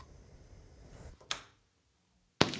Alltof langt gengið.